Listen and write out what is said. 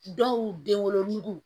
Dɔw denwolodugu